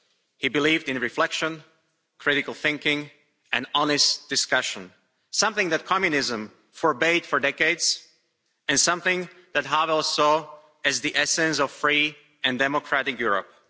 He believed in reflection, critical thinking and honest discussion something that Communism forbade for decades and something that Havel saw as the essence of a free and democratic Europe.